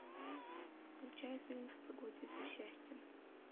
включай фильм в погоне за счастьем